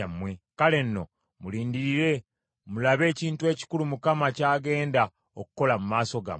“Kale nno mulindirire mulabe ekintu ekikulu Mukama kyagenda okukola mu maaso gammwe.